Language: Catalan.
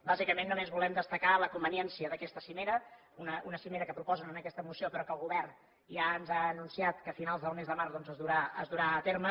bàsicament només volem destacar la conveniència d’aquesta cimera una cimera que proposen en aquesta moció però que el govern ja ens ha anunciat que a finals del mes de març doncs es durà a terme